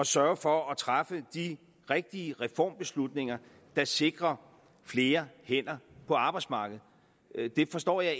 sørge for at træffe de rigtige reformbeslutninger der sikrer flere hænder på arbejdsmarkedet det forstår jeg